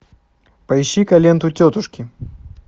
поищи ка ленту тетушки